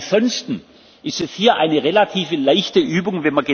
Ansonsten ist das hier eine relativ leichte Übung.